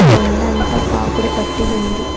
కొండంత పాకుడు పట్టి ఉంది.